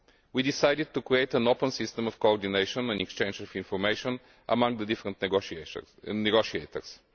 We decided to create an open system of coordination and exchange of information among the different negotiators.